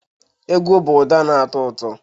Egwu bụ ụda na-atọ ụtọ